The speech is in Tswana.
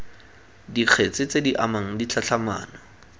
dikgetse tse di amang ditlhatlhamano